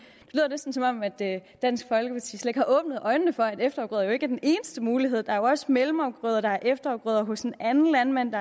det dansk folkeparti slet ikke har åbnet øjnene for at efterafgrøder jo ikke er den eneste mulighed der er jo også mellemafgrøder og der er efterafgrøder hos en anden landmand